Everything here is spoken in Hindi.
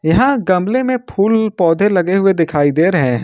यहां गमले में फूल पौधे लगे हुए दिखाई दे रहे हैं।